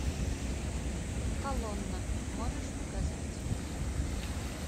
колонна можешь показать